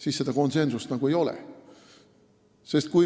siis konsensust ei ole.